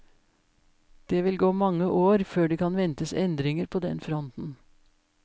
Det vil gå mange år før det kan ventes endringer på den fronten.